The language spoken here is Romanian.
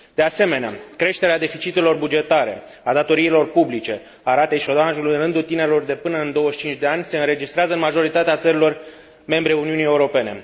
De asemenea, creșterea deficitelor bugetare, a datoriilor publice, a ratei șomajului în rândul tinerilor de până în 25 de ani se înregistrează în majoritatea țărilor membre ale Uniunii Europene.